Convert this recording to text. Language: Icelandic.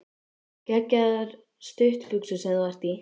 Geggjaðar stuttbuxur sem þú ert í!